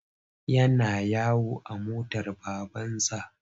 Yana yawo a motar babansa.